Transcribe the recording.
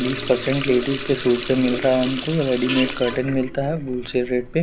बीस percent ladies के suit पे मिलरा है उनको रेडिमेंट कर्टन मिलता है बुल्सेट रेट पे--